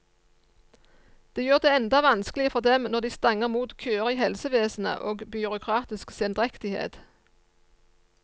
Det gjør det enda vanskeligere for dem når de stanger mot køer i helsevesenet og byråkratisk sendrektighet.